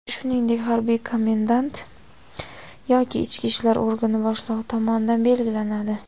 shuningdek harbiy komendant yoki ichki ishlar organi boshlig‘i tomonidan belgilanadi.